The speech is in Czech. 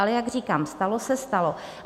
Ale jak říkám, stalo se, stalo.